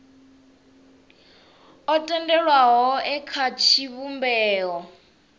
o tendelwaho e kha tshivhumbeo